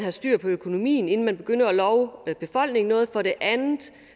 have styr på økonomien inden man begynder at love befolkningen noget og for det andet